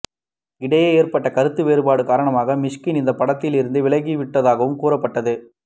இடையே ஏற்பட்ட கருத்து வேறுபாடு காரணமாக மிஷ்கின் இந்த படத்தில் இருந்து விலகி விட்டதாகவும் கூறப்பட்டது